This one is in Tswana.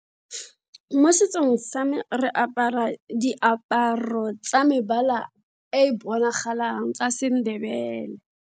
Mo setsong sa me, re apara diaparo tsa mebala e bonagalang tsa Sendebele.